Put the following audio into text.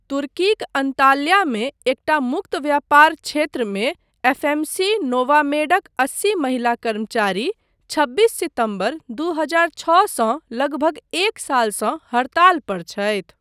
तुर्कीक अन्ताल्यामे एकटा मुक्त व्यापार क्षेत्रमे, एफएमसी नोवामेडक अस्सी महिला कर्मचारी छब्बीस सितम्बर, दू हजार छओ सँ लगभग एक सालसँ हड़ताल पर छथि।